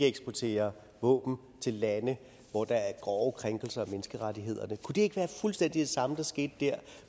eksportere våben til lande hvor der er grove krænkelser af menneskerettighederne kunne det ikke være fuldstændig det samme der skete der